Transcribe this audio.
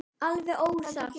Þetta hefur gefið góða raun.